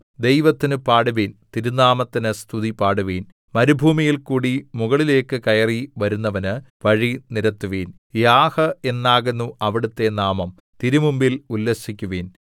ദൈവത്തിന് പാടുവിൻ തിരുനാമത്തിന് സ്തുതിപാടുവിൻ മരുഭൂമിയിൽക്കൂടി മുകളിലേക്ക് കയറി വരുന്നവന് വഴി നിരത്തുവിൻ യാഹ് എന്നാകുന്നു അവിടുത്തെ നാമം തിരുമുമ്പിൽ ഉല്ലസിക്കുവിൻ